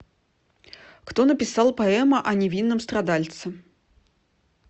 кто написал поэма о невинном страдальце